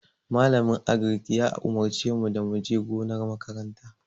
Malamin Agric ya umurce mu da mu je gonar makaranta.